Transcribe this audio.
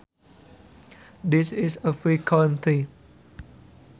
This is a free country